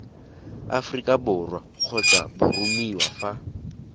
aforika borwa kgotsa boromiwa fa